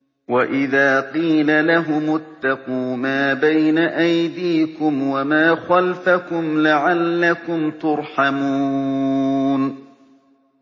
وَإِذَا قِيلَ لَهُمُ اتَّقُوا مَا بَيْنَ أَيْدِيكُمْ وَمَا خَلْفَكُمْ لَعَلَّكُمْ تُرْحَمُونَ